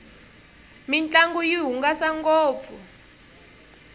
mintlangu yi hungasa ngopfu